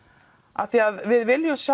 af því að við viljum